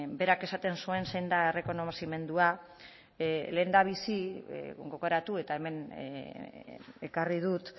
berak esaten zuen zein da errekonozimendua lehendabizi gogoratu eta hemen ekarri dut